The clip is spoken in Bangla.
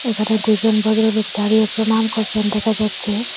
এখানে দুজন ভদ্রলোক দাঁড়িয়ে প্রণাম করছেন দেখা যাচ্ছে।